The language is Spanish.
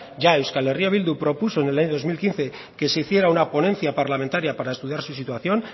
ya euskal herria bildu propuso en el año dos mil quince que se hiciera una ponencia parlamentaria para estudiar su situación